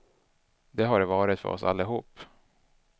Det har det varit för oss allihop.